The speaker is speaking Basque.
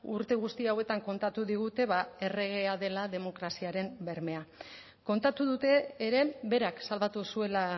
urte guzti hauetan kontatu digute erregea dela demokraziaren bermea kontatu dute ere berak salbatu zuela